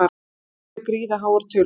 Þetta séu gríðarháar tölur